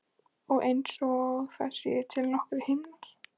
Og einsog það séu til nokkrir himnar.